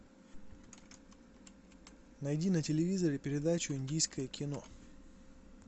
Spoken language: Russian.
найди на телевизоре передачу индийское кино